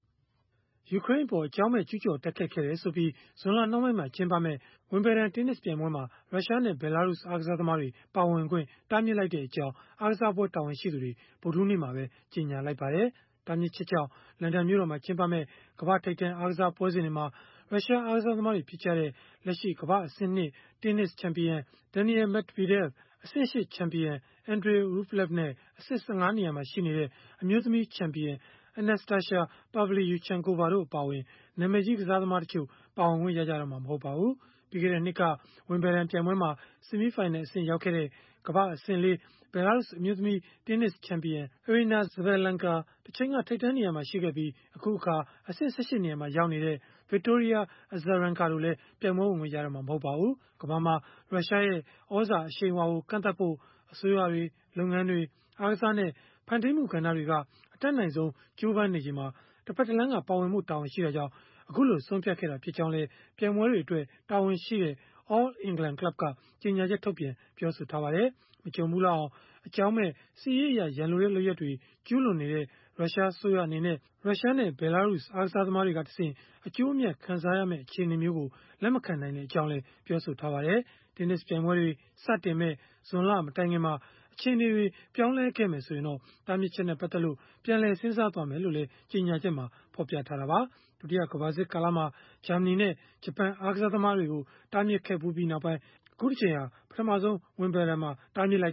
ယူကရိန်းအပေါ် အကြောင်းမဲ့ ကျုးကျော် တိုက်ခိုက်ခဲ့တယ်ဆိုပြီး ဇွန်လနှောင်းပိုင်းမှာ ကျင်းပမယ့် ဝင်ဘယ်ဒန် တင်းနစ်ပြိုင်ပွဲမှာ ရုရှားနဲ့ ဘဲလာရုစ် အားကစားသမားတွေ ပါဝင်ခွင့် တားမြစ်လိုက်ကြောင်း အားကစားပွဲ တာဝန်ရှိသူတွေ ဗုဒ္ဓဟူးနေ့မှာ ကြေညာလိုက်ပါတယ်။ တားမြစ်ချက်ကြောင့် လန်ဒန်မြို့တော်မှာ ကျင်းပမယ့် ကမ္ဘာ့ထိပ်တန်း အားကစားပွဲစဉ်တွေမှာ ရုရှားအားကစားသမားတွေ ဖြစ်ကြတဲ့ လက်ရှိ ကမ္ဘာ့အဆင့် ၂ တင်းနစ်ချန်ပီယံ Daniil Medvedev အဆင့် ၈ ချန်ပီယံ Andrey Rublev နဲ့ အဆင့် ၁၅ နေရာမှာရှိတဲ့ အမျိုးသမီး ချန်ပီယံ Anastasia Pavlyuchenkova တို့ အပါအဝင် နာမည်ကြီး ကစားသမားတချို့ ပါဝင်ခွင့်ရတော့မှာ မဟုတ်ပါဘူး။ ပြီးခဲ့တဲ့နှစ်က ဝင်ဘယ်ဒန် ပြိုင်ပွဲမှာ ဆီမီးဖိုင်နယ် အဆင့်ရောက်ခဲ့တဲ့ ကမ္ဘာ့အဆင့် ၄ ဘဲလာရုစ် အမျိုးသမီး တင်းနစ်ချန်ပီယံ Aryna Sabalenka တချိန်က ထိပ်တန်း နေရာမှာရှိခဲ့ပြီး အခုအခါ ကမ္ဘာ့အဆင့် ၁၈ နေရာမှာရောက်နေတဲ့ Victoria Azarenka တို့လည်း ပြိုင်ပွဲဝင်ခွင့် ရတော့မှာ မဟုတ်ပါဘူး။ ကမ္ဘာမှာ ရုရှားရဲ့ သြဇာအရှိန်အဝါကို ကန့်သတ်ဖို့ အစိုးရတွေ၊ လုပ်ငန်းတွေ၊ အားကစားနဲ့ ဖန်တီးမှုကဏ္ဍတွေက အတတ်နိုင်ဆုံး ကြိုးပမ်းနေချိန်မှာ တဖက်တလမ်းက ပါဝင်ဖို့ တာဝန်ရှိတာကြောင့် အခုလို ဆုံးဖြတ်ခဲ့တာ ဖြစ်ကြောင်းလည်း ပြိုင်ပွဲတွေအတွက် တာဝန်ရှိတဲ့ All England Club က ကြေညာချက် ထုတ်ပြန် ပြောဆိုခဲ့ပါတယ်။ မကြုံဖူးလောက်အောင် အကြောင်းမဲ့ စစ်ရေးအရ ရန်လိုတဲ့ လုပ်ရပ်တွေ ကျုးလွန်နေတဲ့ ရုရှားအစိုးရ အနေနဲ့ ရုရှားနဲ့ ဘဲလာရုစ် အားကစားသမားတွေကတဆင့် အကျိုးအမြတ်ခံစားရမယ့် အခြေအနေမျိုးကို လက်မခံနိုင်ကြောင်းလည်း ပြောပါတယ်။ တင်းနစ်ပြိုင်ပွဲတွေ စတင်မယ့် ဇွန်လမတိုင်ခင်မှာ အခြေအနေတွေ ပြောင်းလဲခဲ့မယ် ဆိုရင်တော့ တားမြစ်ချက်နဲ့ ပတ်သက်လို့ ပြန်လည် စဉ်းစားသွားမယ်လို့လည်း ကြေညာချက်မှာ ဖော်ပြခဲ့တာပါ။ ဒုတိယကမ္ဘာစစ်ကာလမှာ ဂျာမနီနဲ့ ဂျပန် အားကစားသမားတွေကို တားမြစ်ခဲ့ဖူးပြီးနောက်ပိုင်း၊ အခုတကြိမ်ဟာ ပထမဆုံး ဝင်ဘယ်ဒန်မှာ တားမြစ်လိုက်